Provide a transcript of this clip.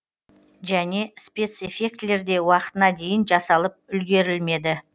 және спецэффектілер де уақытына дейін жасалып үлгерілмеді